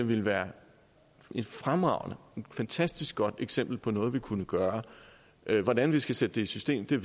ville være fremragende og et fantastisk godt eksempel på noget vi kunne gøre hvordan vi skal sætte det i system ved